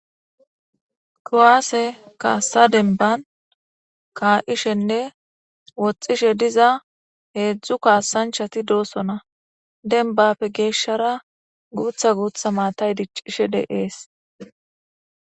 Kuwaase kaassa demban kaa'ishenne woxxishe diza heezzu kaasanchati doosona .Dembappe geeshshara guutha guutha maatay diccishe dees.